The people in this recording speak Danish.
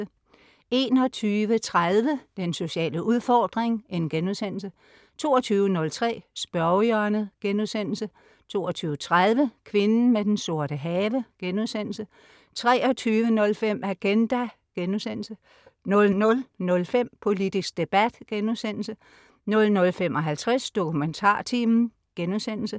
21.30 Den sociale udfordring* 22.03 Spørgehjørnet* 22.30 Kvinden med den sorte have* 23.05 Agenda* 00.05 Politisk debat* 00.55 DokumentarTimen*